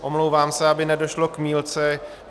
Omlouvám se, aby nedošlo k mýlce.